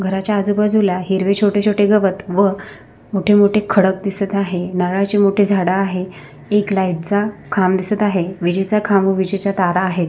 घराच्या आजूबाजूला हिरवे छोटे छोटे गवत व मोठे मोठे खडक दिसत आहे नारळाची मोठे झाड आहे एक लाइट चा खांब दिसत आहे विजेचा खांब व विजेचा तारा आहे.